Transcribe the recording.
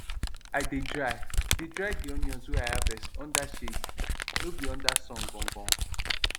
i dey dry dey dry di onions wey i harvest under shade no be under sun gangan